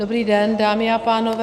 Dobrý den, dámy a pánové.